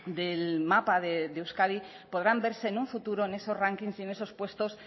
del mapa de euskadi podrán verse en un futuro en esos rankings y en esos puestos